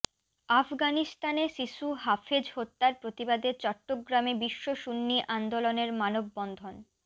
আফগানিস্তানে শিশু হাফেজ হত্যার প্রতিবাদে চট্টগ্রামে বিশ্ব সুন্নী আন্দোলনের মানববন্ধন